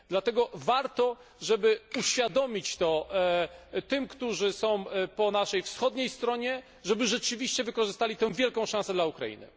Dlatego warto to uświadomić tym, którzy są po naszej wschodniej stronie, żeby rzeczywiście wykorzystali tę wielką szansę dla Ukrainy.